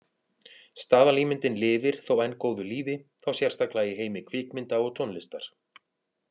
Staðalímyndin lifir þó enn góðu lífi, þá sérstaklega í heimi kvikmynda og tónlistar.